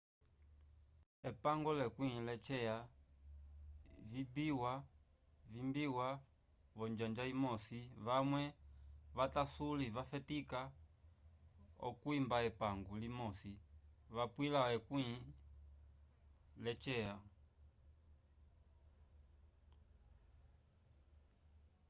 epango lekwĩ lecya vibiwa vonjanja imosi vamwe vatasuli vafetica acwimba epangu limosi vapwila vekwĩ lecya